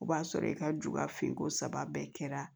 O b'a sɔrɔ i ka ju ka fin ko saba bɛɛ kɛra